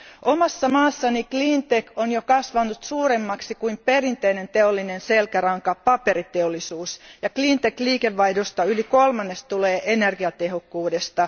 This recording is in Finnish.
Omassa maassani cleantech on jo kasvanut suuremmaksi, kuin perinteinen teollinen selkäranka, paperiteollisuus, ja cleantech liikevaihdosta yli kolmannes tulee energiatehokkuudesta.